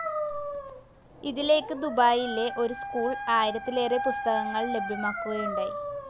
ഇതിലേക്ക് ദുബായിയിലെ ഒരു സ്കൂൾ ആയിരത്തിലേറെ പുസ്തകങ്ങൾ ലഭ്യമാക്കുകയുണ്ടായി.